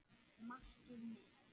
Markið mitt?